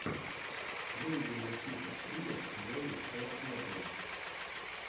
выведи мне список стримов зои шаяхметовой